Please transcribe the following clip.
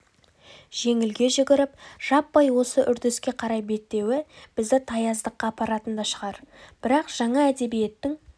жеңілге жүгіріп жаппай осы үрдіске қарай беттеуі бізді таяздыққа апаратын да шығар бірақ жаңа әдебиеттің